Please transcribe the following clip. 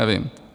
Nevím.